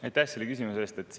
Aitäh selle küsimuse eest!